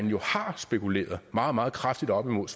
jo har spekuleret meget meget kraftigt op imod